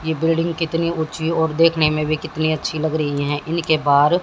ये बिल्डिंग कितनी ऊंची और देखने में भी कितनी अच्छी लग रही हैं इनके पार--